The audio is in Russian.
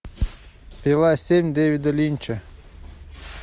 пила семь дэвида линча